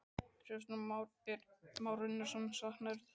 Kristján Már Unnarsson: Saknarðu þess?